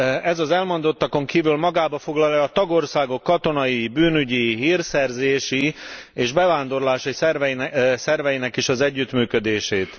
Ez az elmondottakon kívül magában foglalja a tagországok katonai, bűnügyi, hírszerzési és bevándorlási szerveinek is az együttműködését.